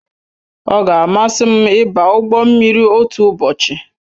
Ọ ga amasị m ịba ụgbọ mmiri otu ụbọchị